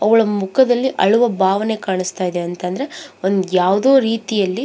ಅವಳ ಮುಖದಲ್ಲಿ ಅಳುವ ಭಾವನೆ ಕಾಣಸ್ತಾ ಇದೆ ಅಂತ ಅಂದ್ರೆ ಒಂದ ಯಾವದೋ ರೀತಿಯಲ್ಲಿ --